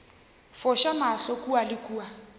foša mahlo kua le kua